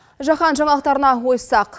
жаһан жаңалықтарына ойыссақ